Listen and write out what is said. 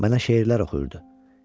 Mənə şeirlər oxuyurdu.